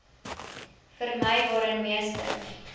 vermy waarin meeste